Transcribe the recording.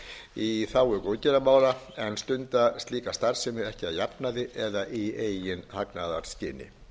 í þágu góðgerðarmála en stunda slíka starfsemi ekki að jafnaði eða í eigin hagnaðarskyni